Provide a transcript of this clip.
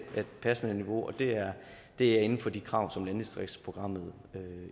passende niveau og det er inden for de krav som landdistriktsprogrammet